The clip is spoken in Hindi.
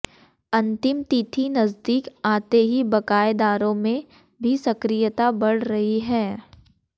अंतिम तिथि नजदीक आते ही बकाएदारों में भी सक्रियता बढ़ रही है